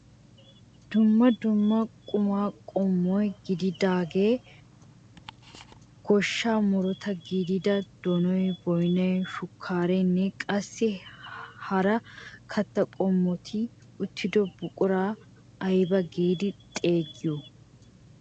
Dumma dumma qumaa qommo gidiyaagee goshshaa murutaa gidiyaa donoy, boynay, shukkareenne qassi hara kattaa qommoti uttido buquraa aybaa giidi xeegiyoo?